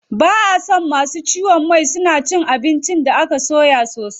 Ba a so masu ciwon mai suna cin abinci da aka soya sosai.